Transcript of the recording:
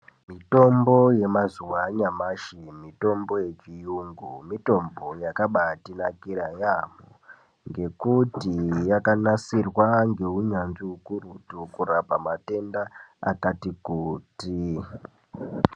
Mutombo yemazuwa anyamashi mitombo yechiyungu mitombo yakabatinakira yambo ngekuti yakanasirwa ngeunyanzvi ukurutu kurapa matenda akati kuti.